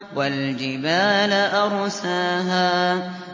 وَالْجِبَالَ أَرْسَاهَا